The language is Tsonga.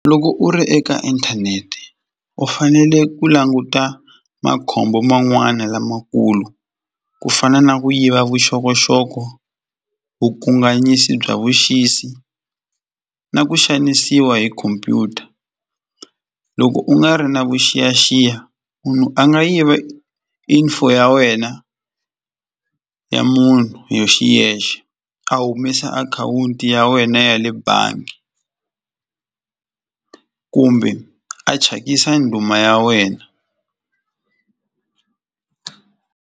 Loko u ri eka inthanete u fanele ku languta makhombo man'wana lamakulu ku fana na ku yiva vuxokoxoko, vukanganyisi bya vuxisi na ku xanisiwa hi khompyuta loko u nga ri na vuxiyaxiya munhu a nga yiva info ya wena ya munhu hi xiyexe a humesa akhawunti ya wena ya le bangi kumbe a thyakisa ndhuma ya wena.